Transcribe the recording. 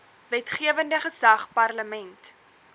wetgewende gesag parlement